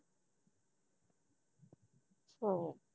ਸੋ